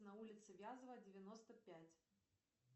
на улице вязова девяносто пять